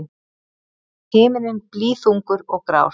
Himinninn blýþungur og grár.